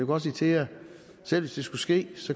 godt sige til jer selv hvis det skulle ske